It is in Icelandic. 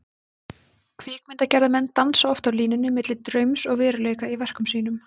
Kvikmyndagerðarmenn dansa oft á línunni milli draums og veruleika í verkum sínum.